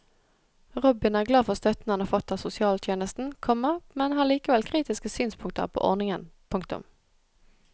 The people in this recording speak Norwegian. Robin er glad for støtten han har fått av sosialtjenesten, komma men har likevel kritiske synspunkter på ordningen. punktum